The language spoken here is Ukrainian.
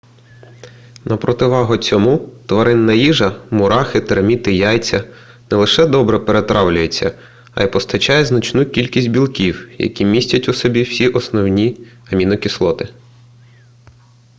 на противагу цьому тваринна їжа мурахи терміти яйця не лише добре перетравлюється а й постачає значну кількість білків які містять у собі всі основні амінокислоти